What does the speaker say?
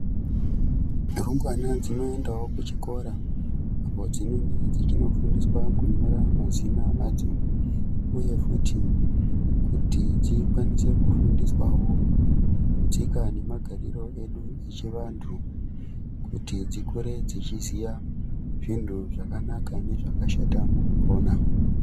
Rumbwana dzinoendawo kuchikora apo dzinenge dzechinofundiswa kunyora mazina adzo uye kuti dzikwanise kufundiswawo tsika nemagariro edu echivantu kuti dzikwanise kuziva zvintu zvakanaka nezvakashata mukupona.